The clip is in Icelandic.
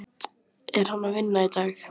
Er hann að vinna í dag?